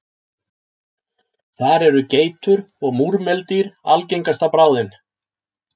Þar eru geitur og múrmeldýr algengasta bráðin.